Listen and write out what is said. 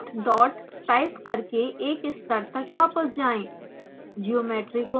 cd dot dot type करके एक स्तर तक वापस जाएँ